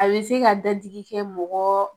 A be se ka dadigi kɛ mɔgɔ